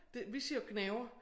Det vi siger jo gnaver